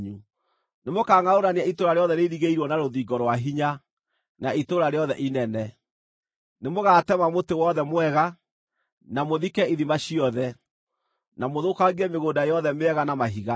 Nĩmũkangʼaũrania itũũra rĩothe rĩirigĩirwo na rũthingo rwa hinya, na itũũra rĩothe inene. Nĩmũgatema mũtĩ wothe mwega, na mũthike ithima ciothe, na mũthũkangie mĩgũnda yothe mĩega na mahiga.”